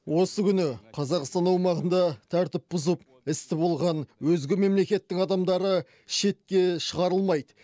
осы күні қазақстан аумағында тәртіп бұзып істі болған өзге мемлекеттің адамдары шетке шығарылмайды